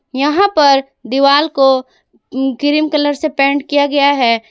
यहां पर दीवाल को क्रीम कलर से पेंट किया गया है।